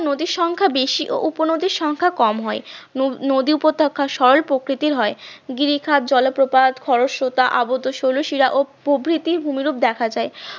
নদীর সংখ্যা বেশি ও উপনদীর সংখ্যা কম হয় নদী নদী উপত্যকার সরল প্রকৃতির হয়, গিরিখাদ জলপ্রপাত খরস্রতা আবদ্ধ শৈলশিরা প্রভৃতির ভূমিরূপ দেখা যায়